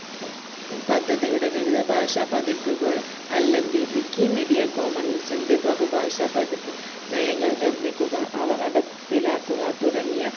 ഏർ പദ്ധതിയുടെ വിവിധ ഭാഷാപതിപ്പുകൾ അല്ലെങ്കിൽ wikimedia commons ന്റെ ബഹുഭാഷാപതിപ്പ് നയങ്ങൾ നിർമിക്കുക അവ നടപ്പിലാക്കുക തുടങ്ങിയ